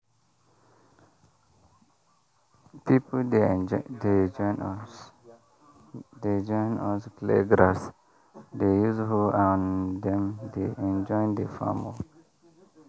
people dey join us dey join us clear grass dey use hoe and dem dey enjoy the farm work.